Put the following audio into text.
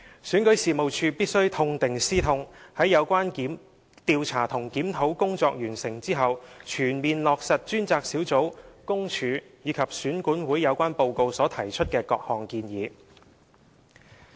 選舉事務處必須痛定思痛，在有關調查和檢討工作完成後，全面落實專責小組、公署和選管會的有關報告所提出的各項建議。